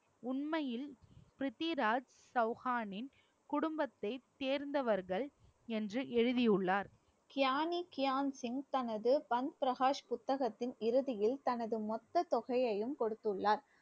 உண்மையில் பிருத்திவிராஜ் சௌகானின் குடும்பத்தை சேர்ந்தவர்கள் என்று எழுதியுள்ளார் கியானி கியான் சிங் தனது பந்த் பிரகாஷ் புத்தகத்தின் இறுதியில் தனது மொத்த தொகையையும் கொடுத்துள்ளார்